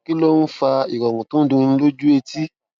kí ló ń fa ìròrùn tó ń dunni lójú etí